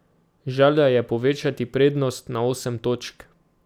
Želja je povečati prednost na osem točk.